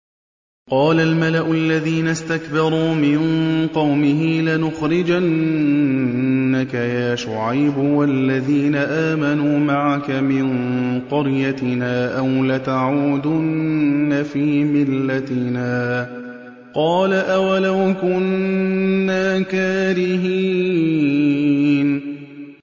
۞ قَالَ الْمَلَأُ الَّذِينَ اسْتَكْبَرُوا مِن قَوْمِهِ لَنُخْرِجَنَّكَ يَا شُعَيْبُ وَالَّذِينَ آمَنُوا مَعَكَ مِن قَرْيَتِنَا أَوْ لَتَعُودُنَّ فِي مِلَّتِنَا ۚ قَالَ أَوَلَوْ كُنَّا كَارِهِينَ